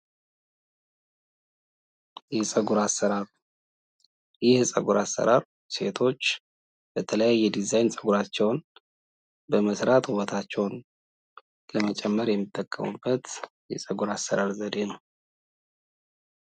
የፀጉር አሰራር ይህ የፀጉር አሰራር ሴቶች በተለያየ የዲዛይን ፀጉራቸውን በመስራት ወበታቸውን ለመጨመር የሚጠቀሙበት የፀጉር አሰራር ዘዴ ነው።